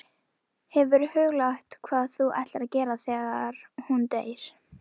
Sigurður setti saman bréf sem baróninn skrifaði undir.